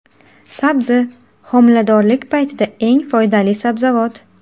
Sabzi : homiladorlik paytida eng foydali sabzavot.